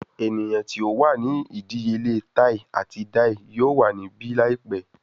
Eniyan ti o wa ni idiyele tai ati dai yoo wa nibi laipẹ